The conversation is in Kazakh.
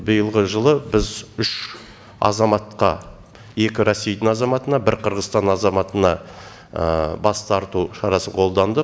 биылғы жылы біз үш азаматқа екі росейдің азаматына бір қырғызстанның азаматына бас тарту шарасын қолдандық